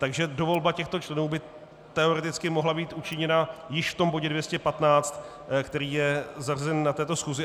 Takže dovolba těchto členů by teoreticky mohla být učiněna již v tom bodě 215, který je zařazen na této schůzi.